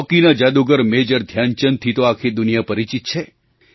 હૉકીના જાદુગર મેજર ધ્યાનચંદથી તો આખી દુનિયા પરિચિત છે